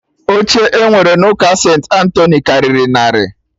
Oche E nwere n'ụka St.Antoni karịrị narị